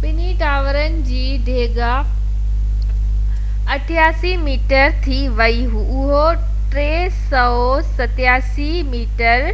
ٻنهي ٽاورن جي ڊيگهہ 83 ميٽر تي ويئي اهو 378 ميٽر